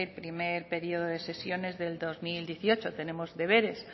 primer periodo de sesiones del dos mil dieciocho tenemos deberes